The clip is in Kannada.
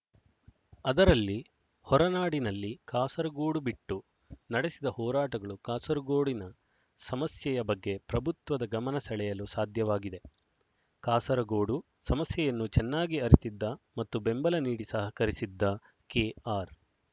ಅದರಲ್ಲಿ ಹೊರನಾಡಿನಲ್ಲಿ ಕಾಸರಗೋಡು ಬಿಟ್ಟು ನಡೆಸಿದ ಹೋರಾಟಗಳು ಕಾಸರಗೋಡಿನ ಸಮಸ್ಯೆಯ ಬಗ್ಗೆ ಪ್ರಭುತ್ವದ ಗಮನ ಸೆಳೆಯಲು ಸಾಧ್ಯವಾಗಿದೆ ಕಾಸರಗೋಡು ಸಮಸ್ಯೆಯನ್ನು ಚೆನ್ನಾಗಿ ಅರಿತಿದ್ದ ಮತ್ತು ಬೆಂಬಲ ನೀಡಿ ಸಹಕರಿಸಿದ್ದ ಕೆಆರ್